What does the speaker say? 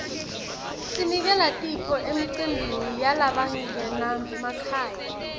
sinikela tipho emicimbini yalabangenamakhaya